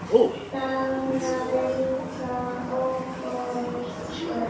Það var líka okkar skóli.